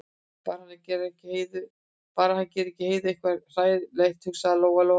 Bara að hann geri ekki Heiðu eitthvað svona hræðilegt, hugsaði Lóa-Lóa.